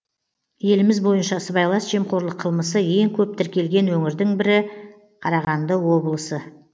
еліміз бойынша сыбайлас жемқорлық қылмысы ең көп тіркелген өңірді бірі қарағанды облысы